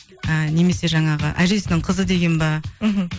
ыыы немесе жаңағы әжесінің қызы деген бе мхм